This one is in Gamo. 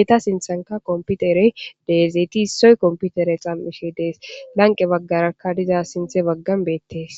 eeta sinthanka komputerey deezeeti issoy komputere xammishe dees lanqe baggarakka diza sinthe baggan beettees